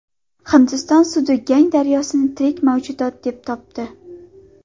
Hindiston sudi Gang daryosini tirik mavjudot deb topdi.